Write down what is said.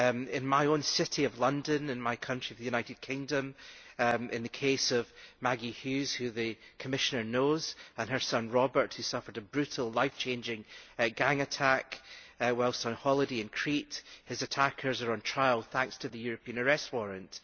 In my own city of London, in my country the United Kingdom, in the case of Maggie Hughes, whom the Commissioner knows, and her son Robert, who suffered a brutal life changing gang attack whilst on holiday in Crete his attackers are on trial thanks to the European Arrest Warrant.